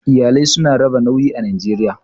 Iyalai su na raba nauyi a Najeriya.